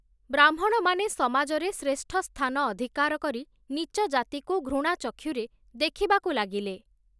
ବ୍ରାହ୍ମଣମାନେ ସମାଜରେ ଶ୍ରେଷ୍ଠସ୍ଥାନ ଅଧିକାର କରି ନୀଚଜାତିକୁ ଘୃଣାଚକ୍ଷୁରେ ଦେଖିବାକୁ ଲାଗିଲେ ।